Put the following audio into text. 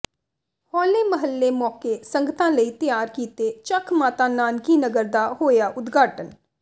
ਹੋਲੇ ਮਹੱਲੇ ਮੌਕੇ ਸੰਗਤਾਂ ਲਈ ਤਿਆਰ ਕੀਤੇ ਚੱਕ ਮਾਤਾ ਨਾਨਕੀ ਨਗਰ ਦਾ ਹੋਇਆ ਉਦਘਾਟਨ